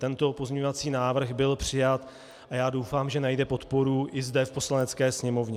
Tento pozměňovací návrh byl přijat a já doufám, že najde podporu i zde v Poslanecké sněmovně.